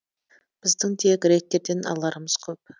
біздің де гректерден аларымыз көп